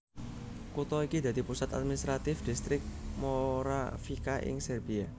Kutha iki dadi pusat administratif Dhistrik Moravica ing Serbia